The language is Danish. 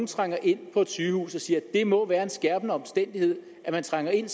trænger ind på et sygehus at siger at det må være en skærpende omstændighed at man trænger ind